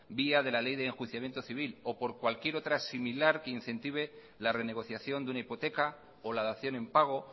vía de la ley de enjuiciamiento civil o por cualquier otra similar que incentive la renegociación de una hipoteca o la dación en pago